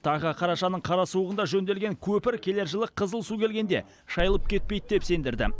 тағы қарашаның қара суығында жөнделген көпір келер жылы қызыл су келгенде шайылып кетпейді деп сендірді